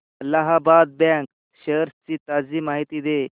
Allahabad bank shares ची ताजी माहिती दे